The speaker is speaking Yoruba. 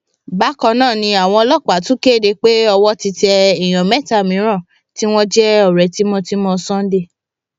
bákan náà ni àwọn ọlọpàá tún kéde pé owó ti tẹ èèyàn mẹta mìíràn tí wọn jẹ ọrẹ tímọtímọ sunday